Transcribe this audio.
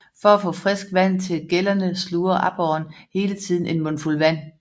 For at få frisk vand til gællerne sluger aborren hele tiden en mundfuld vand